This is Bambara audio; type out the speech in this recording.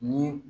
Ni